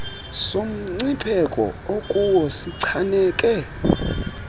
somncipheko okuwo sichaneke